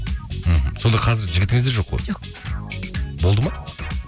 мхм сонда қазір жігітіңіз де жоқ қой жоқ болды ма